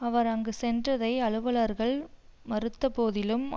அவர் அங்கு சென்றதை அலுவலர்கள் மறுத்த போதிலும்